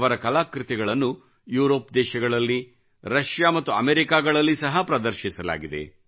ಅವರ ಕಲಾಕೃತಿಗಳನ್ನು ಯುರೋಪ್ ದೇಶಗಳಲ್ಲಿ ರಶಿಯಾ ಮತ್ತು ಅಮೇರಿಕಾಗಳಲ್ಲಿ ಸಹ ಪ್ರದರ್ಶಿಸಲಾಗಿದೆ